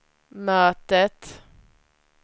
mötet